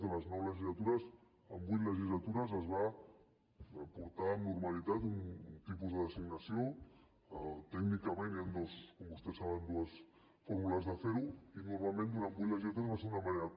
de les nou legislatures en vuit legislatures es va portar amb normalitat un tipus de designació tècnicament hi han com vostès saben dues fórmules de fer ho i normalment durant vuit legislatures va ser d’una manera